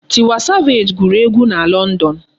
Tiwa savage gụrụ egu na London.